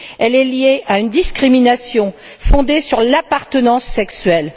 Elle est liée à une discrimination fondée sur l'appartenance sexuelle.